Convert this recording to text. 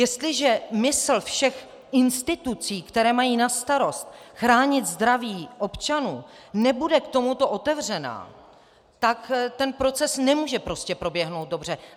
Jestliže mysl všech institucí, které mají na starost chránit zdraví občanů, nebude k tomuto otevřená, tak ten proces nemůže prostě proběhnout dobře.